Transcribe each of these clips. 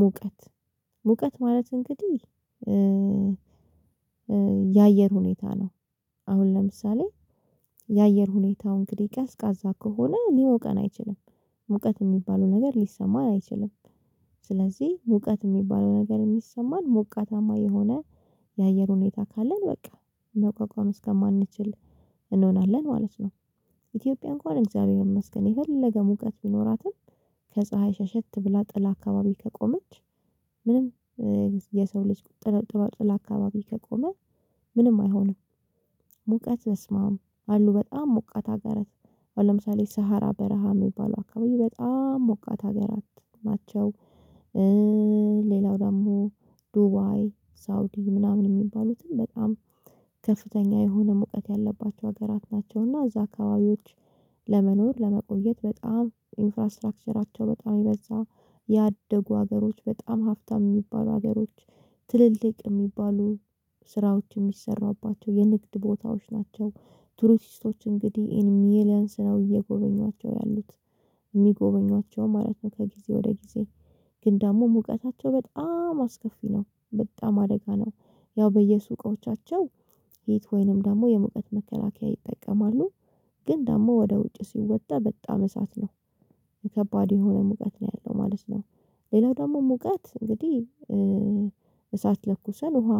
ሙቀት ሙቀት ማለት እንግዲህ የአየር ሁኔታ ነው። አሁን ለምሳሌ የአየር ሁኔታው እንግዲህ ቀዝቃዛ ከሆነ ሊሞቀን አይችልም። ሙቀት የሚባለው ነገር ሊሰማን አይችልም። ስለዚህ ሙቀት የሚባለው ነገር የሚሰማን ሞቃታማ የሆነ የአየር ሁኔታ ካለን በቃ መቋቋም እስከማንችል እንሆናለን ማለት ነው። ኢትዮጵያ እንኳን እግዚአብሔር ይመስገን የፈለገ ሙቀት ቢኖራትም ከፀሀይ ሸሸት ብላ ጥላ አካባቢ ከቆመች ምንም የሰው ልጅ ጥለ ጥላ ጥላ አካባቢ ከቆመ ምንም አይሆንም። ሙቀት በስመአብ አሉ በጣም ሞቃት ሀገራት። አሁን ለምሳሌ ሰሀራ በረሃ የሚባለው አካባቢ በጣም ሞቃት ሀገራት ናቸው። ሌላው ደግሞ ዱባይ፣ ሳውዲ ምናምን የሚባሉትም በጣም ከፍተኛ የሆነ ሙቀት ያለባቸው ሀገራት ናቸው። እና እዛ አካባቢዎች ለመቆየት በጣም ኢንፍራስታራክቸራቸው በጣም የበዛ፤ ያደጉ ሀገሮች፤ በጣም ሀብታም የሚባሉ ሀገሮች፤ ትልልቅ የሚባሉ ስራዎች የሚሰራባቸው የንግድ ቦታዎች ናቸው። ቱሪስቶች እንግዲህ ኢን ሚሊየንስ ነው እየጎበኟቸው ያሉት። የሚጎበኟቸውም ማለት ነው ከጊዜ ወደ ጊዜ ግን ደግሞ ሙቀታቸው በጣም አስከፊ ነው። በጣም አደጋ ነው። ያው በየሱቆቻቸው ሂት ወይንም ደግሞ የሙቀት መከላከያ ይጠቀማሉ። ግን ደግሞ ወደ ውጭ ሲወጣ በጣም እሳት ነው። ከባድ የሆነ ሙቀት ነው ያለው ማለት ነው። ሌላው ደግሞ ሙቀት እንግዲህ እሳት ለኩሰን ውሃ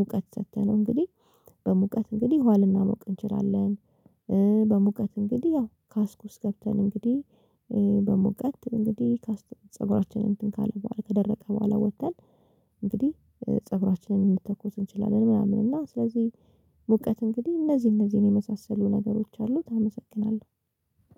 ሙቀት ሰጥተነው እንግዲህ በሙቀት እንግዲህ ውሃ ልናሞቅ እንችላለን። በሙቀት እንግዲህ ያው ካስክ ውስጥ ገብተን እንግዲህ በሙቀት እንግዲህ ካስክ ፀጉራችንን እንትን ካለ በኋላ ከደረቀ በኋላ ወጥተን እንግዲህ ፀጉራችንን መተኮስ እንችላለን ምናምን። እና ስለዚህ ሙቀት እንግዲህ እነዚህ እነዚህን የመሳሰሉ ነገሮች አሉት። አመሰግናለሁ።